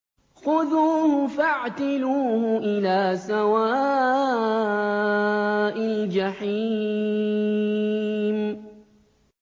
خُذُوهُ فَاعْتِلُوهُ إِلَىٰ سَوَاءِ الْجَحِيمِ